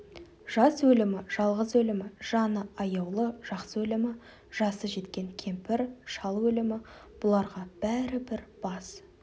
жас өлімі жалғыз өлімі жаны аяулы жақсы өлімі жасы жеткен кемпір шал өлімі бұларға бәрі бір бас